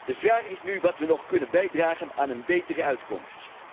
De vraag is nu wat wij nog kunnen bijdragen aan een betere uitkomst.